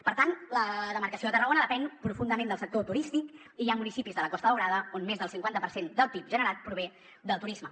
per tant la demarcació de tarragona depèn profundament del sector turístic i hi ha municipis de la costa daurada on més del cinquanta per cent del pib generat prové del turisme